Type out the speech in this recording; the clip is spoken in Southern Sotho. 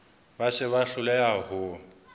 ba se ba hloleha ho